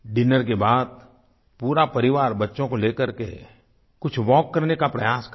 dinner के बाद पूरा परिवार बच्चों को लेकर के कुछ वाल्क करने का प्रयास करें